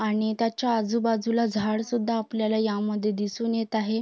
आणि त्याच्या आजूबाजूला झाडं सुद्धा आपल्याला या मध्ये दिसून येत आहे.